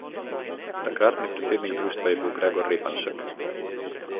Takratni predsednik društva je bil Gregor Repanšek.